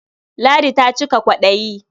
Ladi ta cika kwaɗayi.